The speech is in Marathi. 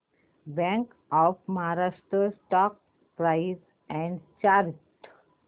bank of Maharashtra stock price and chart